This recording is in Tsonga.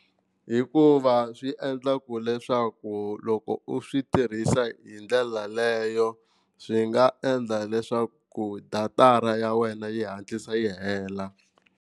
Hikuva swi endla ku leswaku loko u swi tirhisa hi ndlela leyo swi nga endla leswaku datara ya wena yi hatlisa yi hela.